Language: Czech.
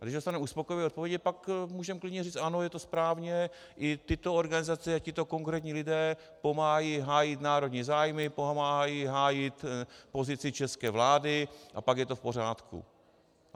A když dostanu uspokojivé odpovědi, pak můžeme klidně říct ano, je to správně, i tyto organizace a tito konkrétní lidé pomáhají hájit národní zájmy, pomáhají hájit pozici české vlády a pak je to v pořádku.